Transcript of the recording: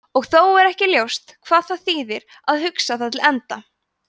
og þó er ekki ljóst hvað það þýðir að hugsa það til enda